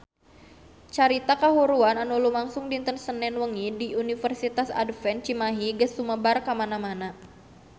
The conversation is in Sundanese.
Carita kahuruan anu lumangsung dinten Senen wengi di Universitas Advent Cimahi geus sumebar kamana-mana